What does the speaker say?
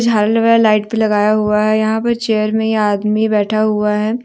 झालर वाला लाइट भी लगाया हुआ है यहां पर चेयर में ये आदमी बैठा हुआ है।